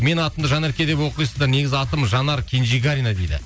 менің атымды жанерке деп оқисыздар негізі атым жанар кенжегарина дейді